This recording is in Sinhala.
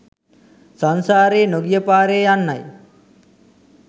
සංසාරයේ නොගිය පාරේ යන්නයි.